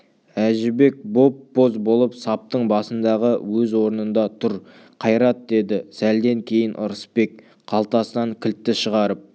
әжібек боп-боз болып саптың басындағы өз орнында тұр қайрат деді сәлден кейін ырысбек қалтасынан кілтті шығарып